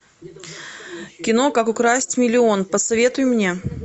кино как украсть миллион посоветуй мне